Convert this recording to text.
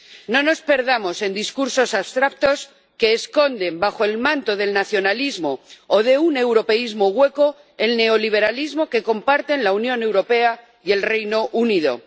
No nos perdamos en discursos abstractos que esconden, bajo el manto del nacionalismo o de un europeísmo hueco, el neoliberalismo que comparten la Unión Europea y el Reino Unido.